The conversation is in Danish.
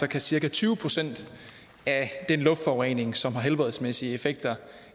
kan cirka tyve procent af den luftforurening som har helbredsmæssige effekter